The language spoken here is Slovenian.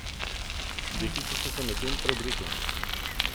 Deklice so se medtem preoblekle.